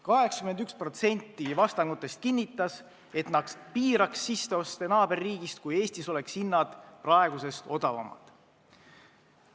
81% vastanutest kinnitas, et nad piiraks sisseoste naaberriigist, kui Eestis oleks hinnad praegusest odavamad.